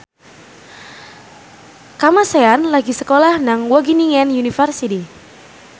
Kamasean lagi sekolah nang Wageningen University